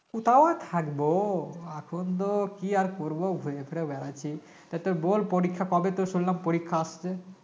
কোথায় আর থাকব এখন তো কি আর করব ঘুরে ফিরে বেড়াচ্ছি তা তোর বল পরীক্ষা কবে তোর শুনলাম পরীক্ষা আসছে